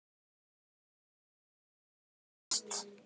Alveg óvart.